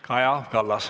Kaja Kallas.